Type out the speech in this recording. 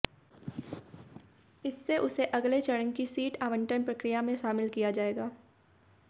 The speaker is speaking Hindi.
इससे उसे अगले चरण की सीट आवंटन प्रक्रिया में शामिल किया जाएगा